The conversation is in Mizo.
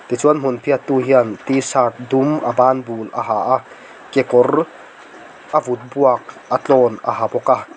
tichuan hmun phiattu hian t shirt dum a ban bul a ha a kekawr a vut buak a tlawn a ha bawk a.